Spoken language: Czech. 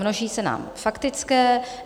Množí se nám faktické.